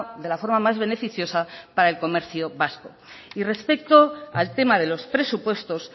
de la forma más beneficiosa para el comercio vasco y respecto al tema de los presupuestos